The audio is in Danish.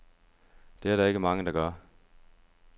Det er der ikke mange, der gør.